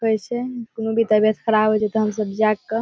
की कहे छै कूनो भी तबीयत खराब हेय छै ते हम सब जाएग के --